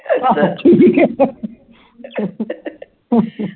ਅੱਛਾ ਠੀਕ ਹੈ ਫੇਰ